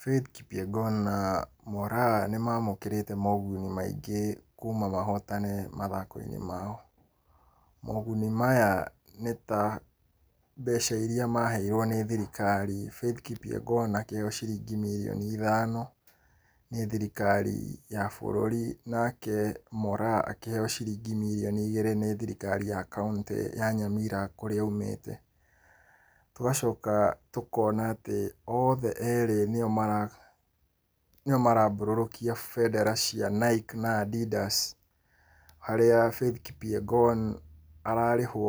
Faith Kipyegon na Moraa nĩ mamũkĩrĩte moguni maingĩ kuma mahotane mathako-inĩ mao. Moguni maya nĩ ta mbeca iria maheirwo nĩ thirikari. Faith Kipyegon akĩheyo ciringi mirioni ithano nĩ thirikari ya bũrũri, nake Moraa akĩheo ciringi mirioni igĩrĩ nĩ thirikari ya kaũntĩ ya Nyamira kũrĩa aumĩte. Tũgacoka tũkona atĩ othe erĩ nĩo marambũrũkia bendera cia Nike na Adidas, harĩa Faith Kipyegon ararĩhwo